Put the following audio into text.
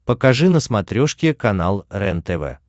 покажи на смотрешке канал рентв